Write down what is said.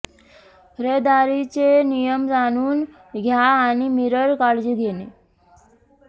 रहदारीचे नियम जाणून घ्या आणि मिरर काळजी घेणे